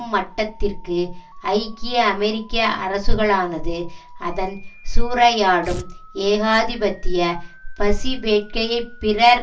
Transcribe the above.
மட்டத்திற்கு ஐக்கிய அமெரிக்க அரசுகளானது அதன் சூறையாடும் ஏகாதிபத்திய பசிவேட்கையை பிறர்